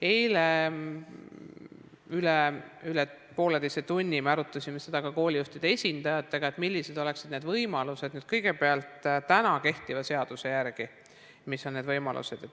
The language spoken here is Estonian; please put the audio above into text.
Eile me üle poolteise tunni arutasime ka koolijuhtide esindajatega, millised oleksid need võimalused kõigepealt kehtiva seaduse järgi.